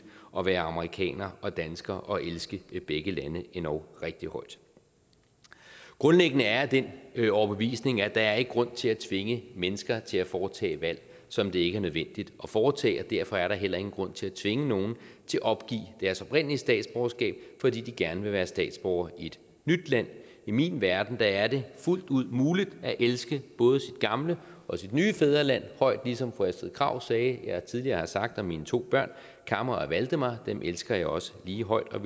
at være amerikaner og dansker og elske begge lande endog rigtig højt grundlæggende er den overbevisning at der ikke er grund til at tvinge mennesker til at foretage valg som det ikke er nødvendigt at foretage derfor er der heller ingen grund til at tvinge nogen til at opgive deres oprindelige statsborgerskab fordi de gerne vil være statsborgere i et nyt land i min verden er det fuldt ud muligt at elske både sit gamle og sit nye fædreland højt ligesom fru astrid krag sagde jeg tidligere har sagt om mine to børn kamma og valdemar dem elsker jeg også lige højt og